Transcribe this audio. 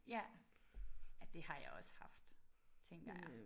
Ja ej det har jeg også haft tænker jeg